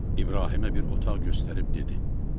İbrahimə bir otaq göstərib dedi: